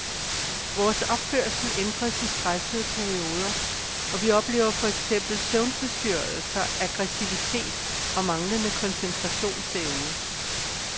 Vores opførsel ændres i stressede perioder, og vi oplever for eksempel søvnforstyrrelser, aggressivitet og manglende koncentrationsevne.